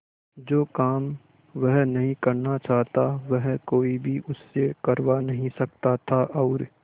जो काम वह नहीं करना चाहता वह कोई भी उससे करवा नहीं सकता था और